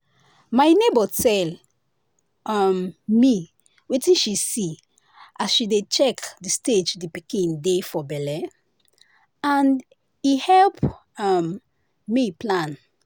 my neighbour tell um me wetin she see as she dey check the stage the pikin dey for belle and e help um me plan.